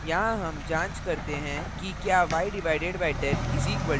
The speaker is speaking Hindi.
यहाँ हम जांच करते हैं कि क्या y/10 = 1 है